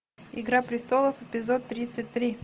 игра престолов эпизод тридцать три